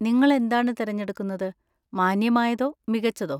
നിങ്ങൾ എന്താണ് തിരഞ്ഞെടുക്കുന്നത്, മാന്യമായതോ മികച്ചതോ?